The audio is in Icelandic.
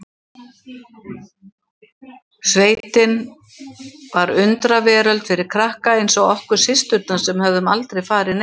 Sveitin var undraveröld fyrir krakka eins og okkur systurnar sem höfðum aldrei farið neitt.